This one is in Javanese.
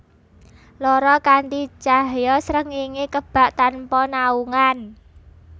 Loro Kanthi cahya srengéngé kebak tanpa naungan